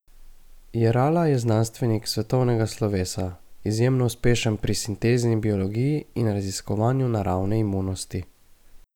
Jerala je znanstvenik svetovnega slovesa, izjemno uspešen pri sintezni biologiji in raziskovanju naravne imunosti.